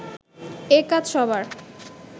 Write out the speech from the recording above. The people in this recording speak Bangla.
এ কাজ সবার